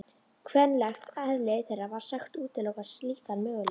Kvenlegt eðli þeirra var sagt útiloka slíkan möguleika.